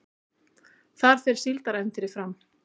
Þar fer Síldarævintýrið fram